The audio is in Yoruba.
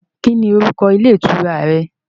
Kí ni orúkọ ilé ìtura rẹ